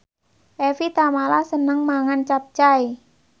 Evie Tamala seneng mangan capcay